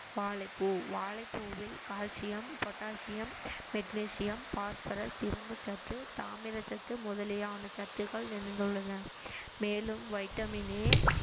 வாழைப்பூ வாழைப்பூவில் calcium potassium magnesium phosphorus இரும்புச் சத்து தாமிரச் சத்து முதலியான சத்துக்கள் நிறைந்துள்ளன மேலும் வைட்டமின் ஏ